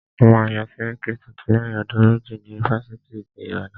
A máa yán sẹ́ríkí tuntun lẹ́yìn ọdún méjì ní ifáfitì ti Ìbàdàn.